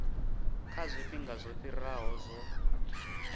kha zwifhinga zwo fhiraho zwo